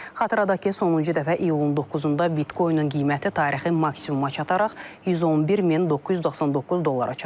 Xatırladaq ki, sonuncu dəfə iyulun 9-da Bitcoin-ın qiyməti tarixi maksimuma çataraq 111 min 999 dollara çatıb.